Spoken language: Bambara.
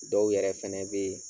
Dɔw yɛrɛ fɛnɛ bɛ yen